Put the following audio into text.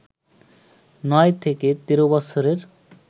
নয় থেকে তের বছরের